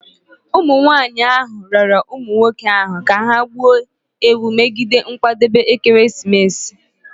Womenmụ nwanyị ahụ rịọrọ ụmụ nwoke ahụ ka ha gbuo ewu megide nkwadebe ekeresimesi